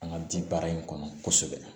An ka bi baara in kɔnɔ kosɛbɛ